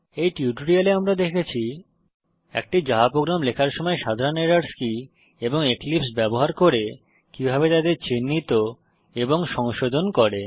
এই টিউটোরিয়ালে আমরা দেখেছি একটি জাভা প্রোগ্রাম লেখার সময় সাধারণ এরর্স কি এবং এক্লিপসে ব্যবহার করে কিভাবে তাদের চিহ্নিত এবং সংশোধন করে